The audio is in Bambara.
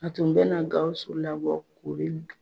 A tun bɛna na Gawusu labɔ u be